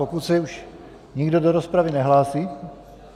Pokud se už nikdo do rozpravy nehlásí...